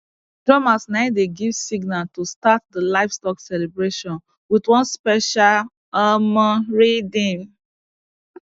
drummers nai dey give signal to start the livestock celebration with one special um rhythm